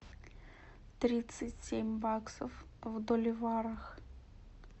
тридцать семь баксов в боливарах